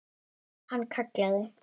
Hann kallaði